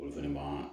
Olu fɛnɛ ma